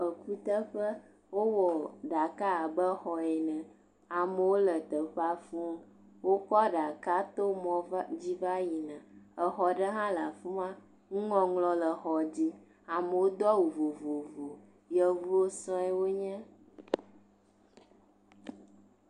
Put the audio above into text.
Eku teƒe, wowɔ ɖaka abe xɔ ene, amowo le teƒa fū, wo kɔ aɖaka to mɔ dzi va yi na, exɔ ɖe hã le afima, ŋu ŋɔŋlɔ le xɔ dzi, amowo do awu vovovo, yevuwo sɔ̃e wo nye.